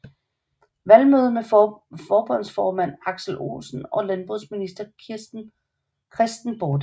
Valgmøde med forbundsformand Aksel Olsen og landbrugsminister Kristen Bording